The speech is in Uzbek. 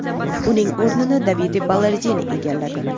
Uning o‘rnini Davide Ballardini egalladi.